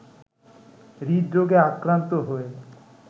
হৃদরোগে আক্রান্ত হয়ে